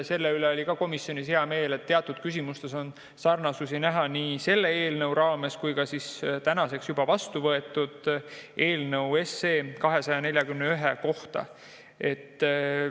Selle üle oli ka komisjonis hea meel, et teatud küsimustes on näha sarnasusi selle eelnõu ja tänaseks juba vastuvõetud eelnõuga 241.